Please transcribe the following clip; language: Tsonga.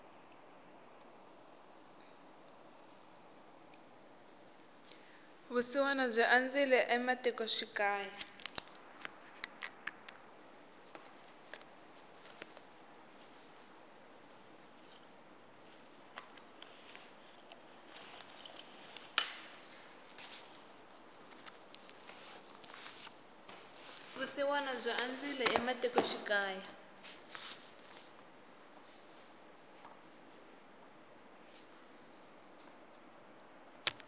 vusiwana byi andzile ematiko xikaya